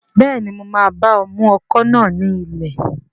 Bẹ́ẹ̀ni, mo máa bá ọ mú ọkọ̀ náà ní ilẹ̀